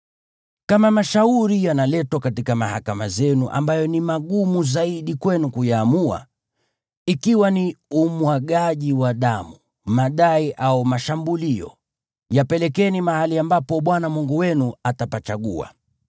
Kama mashauri yanaletwa katika mahakama zenu ambayo ni magumu zaidi kwenu kuyaamua, ikiwa ni umwagaji wa damu, madai au mashambulio, yapelekeni mahali ambapo Bwana Mungu wenu atapachagua.